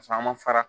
Paseke an ma fara